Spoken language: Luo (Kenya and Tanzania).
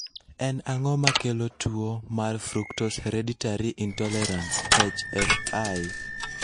En ang'o makelo tuwo mar fructose hereditary intolerance (HFI)?